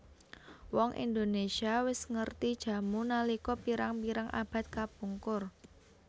Wong Indonésia wis ngerti jamu nalika pirang pirang abad kapungkur